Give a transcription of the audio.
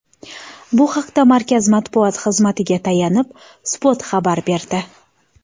Bu haqda Markaz matbuot xizmatiga tayanib, Spot xabar berdi .